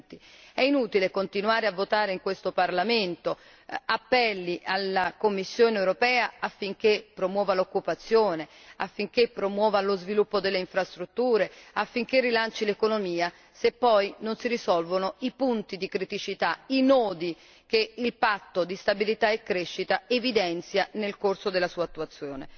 2020. È inutile continuare a votare in questo Parlamento appelli alla Commissione europea affinché promuova l'occupazione, affinché promuova lo sviluppo delle infrastrutture, affinché rilanci l'economia, se poi non si risolvono i punti di criticità, i nodi che il patto di stabilità e crescita evidenzia nel corso della sua attuazione.